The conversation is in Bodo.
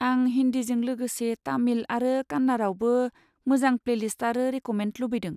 आं हिन्दीजों लोगोसे तामिल आरो कान्नाड़ावबो मोजां प्लेलिस्ट आरो रेक'मेन्द लुबैदों।